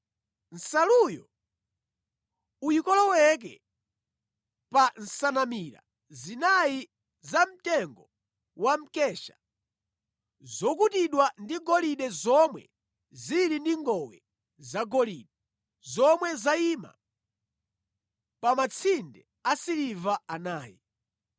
Nsaluyo uyikoloweke pa nsanamira zinayi zamtengo wa mkesha zokutidwa ndi golide zomwe zili ndi ngowe zagolide, zomwe zayima pa matsinde asiliva anayi.